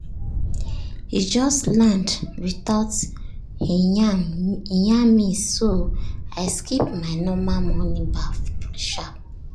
e just land without e yarn me so i skip my normal morning baff sharp.